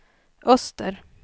öster